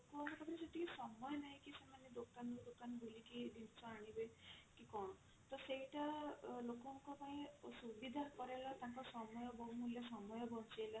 ଲୋକଙ୍କ ଲୋକଙ୍କ ପାଖରେ ସେତିକି ସମୟ ନାହିଁ କି ସେମାନେ ଦୋକାନ ରୁ ଦୋକାନ ବୁଲିକି ଜିନିଷ ଆଣିବେ କି କଣ ତ ସେଇଟା ଅ ଲୋକଙ୍କ ପାଇଁ ସୁବିଧା କରେଇଲା ତାଙ୍କ ସମୟ ବହୁମୂଲ୍ୟ ସମୟ ବଞ୍ଚେଇଲା